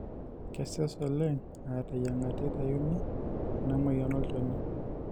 kesesh oleng aa teyiang'ata eitayuni ena moyian olnchoni